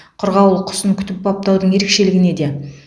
қырғауыл құсын күтіп баптаудың ерекшелігі неде